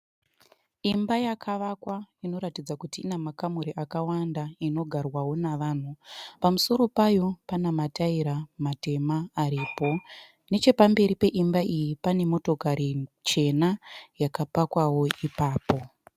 Imba yakavakwa inoratidza kuti ine makamuri akawanda inogarwawo nevanhu. Pamusoro payo pane mataira matema aripo. Nechepamberi peimba iyi pane motokari chena yakapakwawo ipapo.